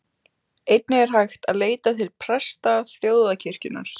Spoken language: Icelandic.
Einnig er hægt að leita til presta þjóðkirkjunnar.